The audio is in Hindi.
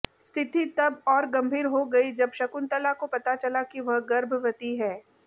स्थिति तब और गंभीर हो गई जब शकुंतला को पता चला कि वह गर्भवती है